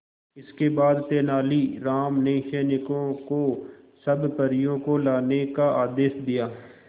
इसके बाद तेलानी राम ने सैनिकों को सब परियों को लाने का आदेश दिया